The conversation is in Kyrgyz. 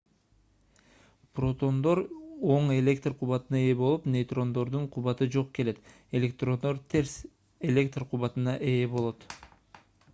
протондор оң электр кубатына ээ болуп нейтрондордун кубаты жок келет электрондор терс электр кубатына ээ болушат